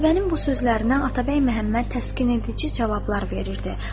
Qətibənin bu sözlərinə Atabəy Məhəmməd təskin edici cavablar verirdi.